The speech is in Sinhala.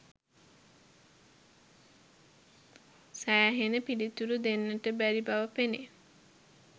සෑහෙන පිළිතුරු දෙන්නට බැරි බව පෙනේ.